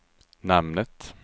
namnet